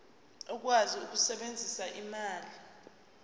ukwazi ukusebenzisa ulimi